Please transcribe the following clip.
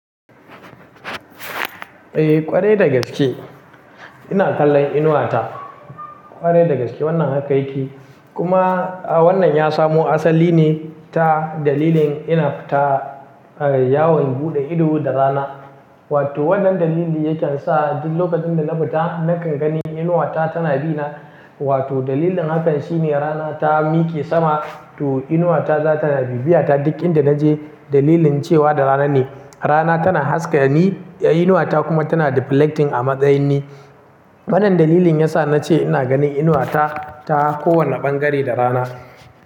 Eh ƙwarai dagaske ina kallon inuwa ta. Ƙwarai dagaske wannan haka yake. Kuma wannan ya samu asali ne ta dalilin ina fita yawon buɗe ido da rana. Wato wannan dalili yake sa duk lokacin da na fita nakan gani inuwa ta tana bi na. Wato dalilin hakan shine rana ta mike sama to inuwa ta za ta bi biya ta. Duk inda naje dalilin cewa da rana ne. Rana tana haska ni, inuwa ta kuma tana deflecting a matsayin ni. Wannan dalilin yasa na ce ina ganin inuwa ta, ta kowane ɓangare da rana.